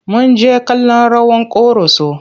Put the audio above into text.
Mun jjke kallon rawar ƙoroso.